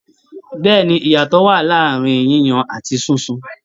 Bẹ́ẹ̀ni, iyatọ wa ní àárín yíyan àti sísun